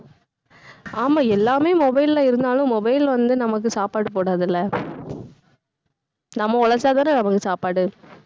ஆமா, எல்லாமே mobile ல இருந்தாலும் mobile வந்து நமக்கு சாப்பாடு போடாது இல்ல நம்ம உழைச்சா தானே நமக்கு சாப்பாடு.